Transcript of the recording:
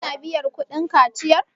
ana biyar kudin kaciyar?